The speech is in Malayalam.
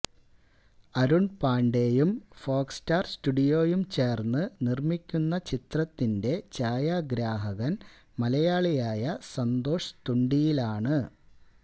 അരുണ് പാണ്ഡെയും ഫോക്സ് സ്റ്റാര് സ്റ്റുഡിയോയും ചേര്ന്ന് നിര്മ്മിക്കുന്ന ചിത്രത്തിന്റെ ഛായാഗ്രാഹകന് മലയാളിയായ സന്തോഷ് തുണ്ടിയിലാണ്